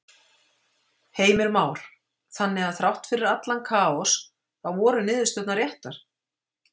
Heimir Már: Þannig að þrátt fyrir allan kaos þá voru niðurstöðurnar réttar?